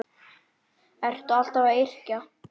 Ertu alltaf að yrkja?